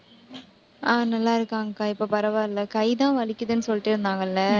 ஆஹ் நல்லா இருக்காங்கக்கா, இப்ப பரவாயில்லை கைதான் வலிக்குதுன்னு சொல்லிட்டே இருந்தாங்கள்ல